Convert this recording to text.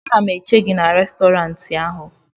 ana m eche gị n'Restọrantị ahụ